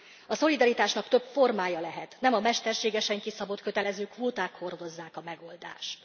A szolidaritásnak több formája lehet, nem a mesterségesen kiszabott kötelező kvóták hordozzák a megoldást.